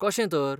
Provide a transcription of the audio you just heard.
कशें तर ?